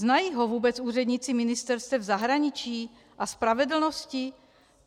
Znají ho vůbec úředníci ministerstev zahraničí a spravedlnosti?